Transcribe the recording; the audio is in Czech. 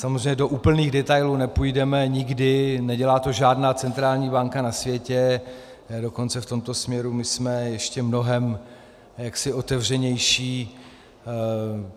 Samozřejmě do úplných detailů nepůjdeme nikdy, nedělá to žádná centrální banka na světě, dokonce v tomto směru my jsme ještě mnohem otevřenější.